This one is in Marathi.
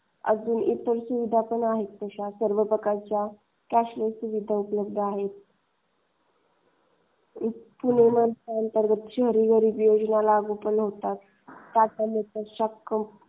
अजून इतर सुविधा पण आहेत तशा. सर्व प्रकारचे कॅशलेस सुविधा पण उपलब्ध आहे. पुणे मनपाअंतर्गत शहरी गरीब योजना लागू केल्या जातात.